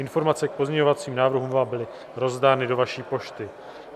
Informace k pozměňovacím návrhům vám byly rozdány do vaší pošty.